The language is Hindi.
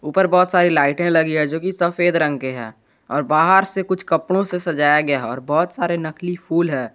ऊपर बहुत सारी लाइटें लगी है जो की सफेद रंग की है और बाहर से कुछ कपड़ों से सजाया गया और बहुत सारे नकली फूल है।